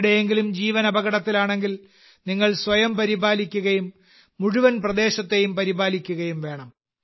ആരുടെയെങ്കിലും ജീവൻ അപകടത്തിലാണെങ്കിൽ നിങ്ങൾ സ്വയം പരിപാലിക്കുകയും മുഴുവൻ പ്രദേശത്തെയും പരിപാലിക്കുകയും വേണം